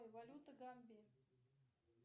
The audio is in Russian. валюта гамбии